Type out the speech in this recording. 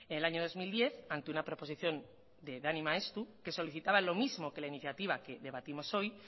el año dos mil diez ante una proposición de dani maeztu que solicitaba lo mismo que la iniciativa que debatimos hoy